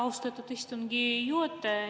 Austatud istungi juhataja!